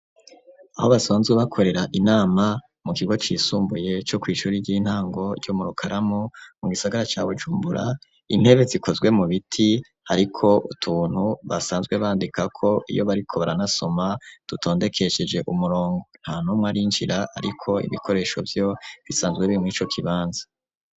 Aho basanzwe bakorera inama mu kigo cisumbuye co ku ishuri ry'intango ry'o murukaramu mu gisagara ca Bujumbura . Intebe zikozwe mu biti ariko utuntu basanzwe bandika ko iyo bariko baranasoma dutondekesheje umurongo nta ntumwa rinjira ariko ibikoresho byo bisanzwe birimwico kibanze.